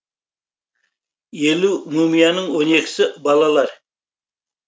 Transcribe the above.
елу мумияның он екісі балалар